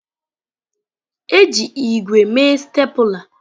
E ji ígwè mee stapler.